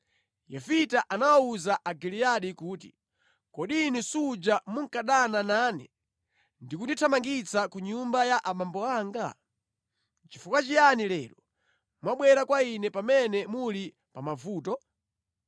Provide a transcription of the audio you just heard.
Yefita anawawuza Agiliyadi kuti, “Kodi inu suja munkadana nane ndi kundithamangitsa ku nyumba ya abambo anga? Nʼchifukwa chiyani lero mwabwera kwa ine pamene muli pa mavuto?”